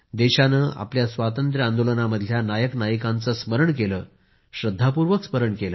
देशानं आपल्या स्वातंत्र्यामधल्या नायकनायिकांचं स्मरण केलं श्रद्धापूर्वक स्मरण केलं